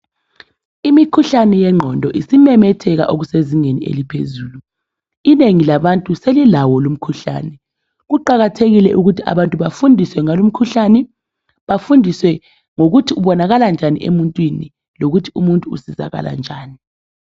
Imikhuhlane yengqondo, usumemetheka, okusezingeni eliphezulu. lnengi labantu selilawo lowumkhuhlane. Kuqakathekile abantu bafundiswe ngawo lumkhuhlane. Bafundiswe ngokuthi ubonakala njsni emuntwini. Lokuthi abantu basizakala njani.